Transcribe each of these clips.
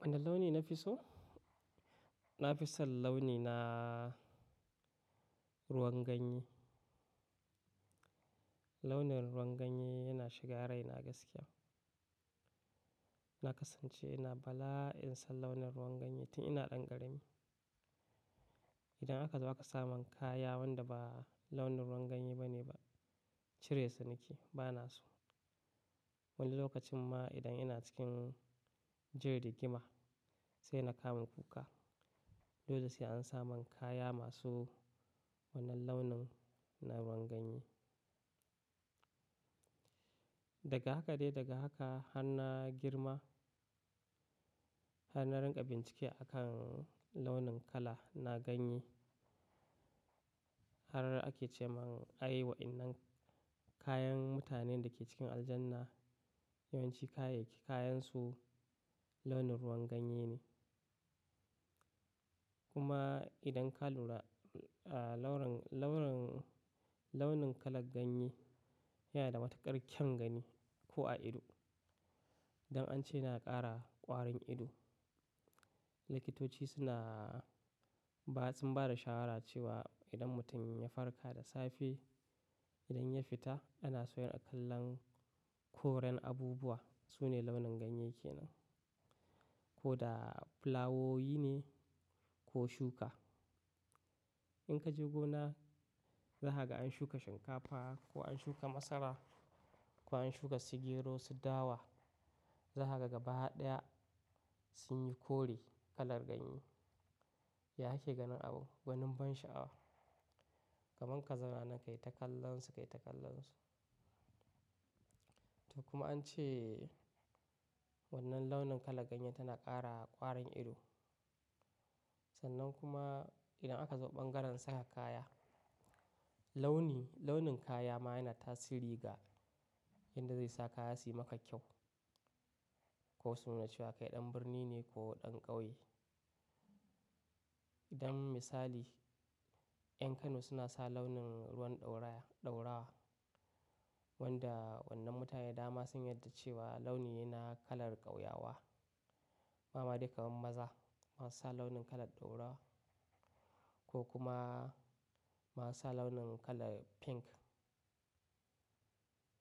Wane launi na fi so? Na fi son launi na ruwan ganye. Launin ruwan ganye yana shiga raina gaskiya. Na kasance ina bala'i san launin ruwan ganye tun ina ɗan ƙarami. Idan aka zo aka samin kaya wanda ba launin ruwan ganye bane ba, cire su nake bana so. Wani lokacin ma idan ina cikin jin rigima sai na kama kuka. Dole sai an samun kaya masu wannan launin na ruwan ganye. Daga haka dai daga haka har na girma, har na rinƙa bincike a kan launin kala na ganye. Har ake ce mun ai waɗannan kayan mutanen da ke cikin aljanna yawanci kayansu launin ruwan ganye ne. Kuma idan ka lura launin, launin kalar ganye yana da matuƙar kyan gani ko a ido. Don an ce ya na ƙara ƙwarin ido, likitoci suna bayan sun bada shawara cewa idan mutum ya farka da safe, idan ya fita ana so ya riƙa kallon koren abubuwa. Su ne launin ganye kenan. Ko da fulawoyi ne ko shuka. In ka je gona za ka ga an shuka shinkafa ko an shuka masara ko an shuka su gero su dawa za ka ga gaba ɗaya sun yi kore kalar ganye. Ya kake ganin abun, gwanin ban sha'awa. Kaman ka zauna nan kai ta kallon su, kai ta kallon su. To kuma an ce wannan launin kalar ganyen tana ƙara ƙwarin ido. Sannan kuma idan aka zo bangaren saka kaya, launin kaya ma yana tasiri ga yadda zai sa kaya suyi maka kyau. Ko suna cewa kai ɗan birni ne ko ɗan ƙauye. Don misali, 'yan Kano suna sa launin ruwan ɗaurawa. Wanda wannan mutane da dama sun yarda cewa launi ne na kalar ƙauyawa. Ba ma dai kamar maza ma su sa launin kalar ɗaurawa ko kuma ma su sa launin kalar pink.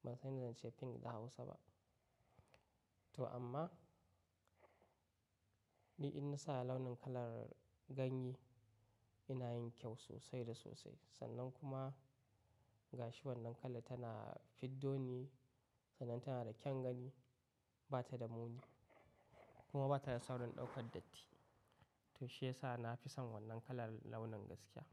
Ban san me zan ce pink da Hausa ba. To amma, ni in na sa launin kalar ganye ina yin kyau sosai da sosai. Sannan kuma gashi wannan kalar tana fiddo ni, sannan tana da kyan gani, ba ta da muni. Kuma ba ta da saurin ɗaukar datti. To shi ya sa na fi son wannan kalar launin gaskiya.